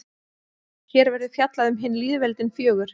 hér verður fjallað um hin lýðveldin fjögur